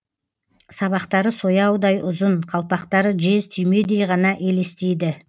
сабақтары сояудай ұзын қалпақтары жез түймедей ғана елестейді